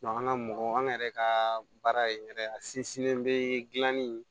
an ka mɔgɔ an yɛrɛ ka baara ye yɛrɛ a sinsinnen be gilan ni